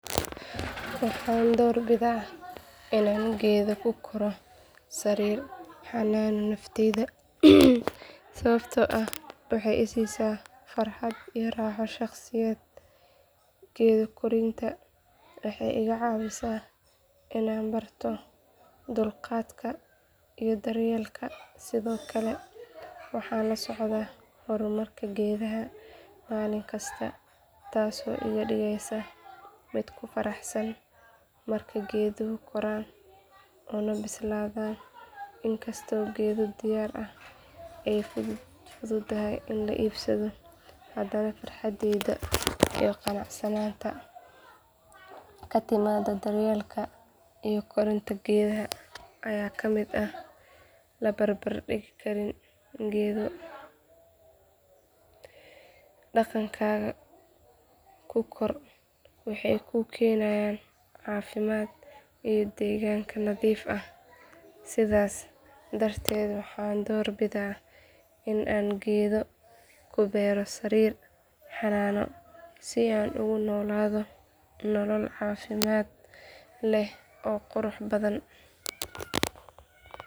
Waxaan door bidaa inaan geedo ku koro sariir xanaano naftayda sababtoo ah waxay i siisaa farxad iyo raaxo shaqsiyadeed geedo korinta waxay iga caawisaa inaan barto dulqaadka iyo daryeelka sidoo kale waxaan la socdaa horumarka geedaha maalin kasta taasoo iga dhigaysa mid ku faraxsan marka geeduhu koraan una bislaadaan in kastoo geedo diyaar ah ay fududahay in la iibsado hadana farxadda iyo qanacsanaanta ka timaadda daryeelka iyo korinta geedaha ayaa ah mid aan la barbar dhigi karin geedo dhaqankaaga ku koro waxay kuu keenayaan caafimaad iyo deegaanka nadiif ah sidaas darteed waxaan door bidaa in aan geedo ku beero sariir xanaano si aan ugu noolaado nolol caafimaad leh oo qurux badan.